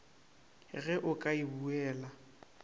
ge o ka e buela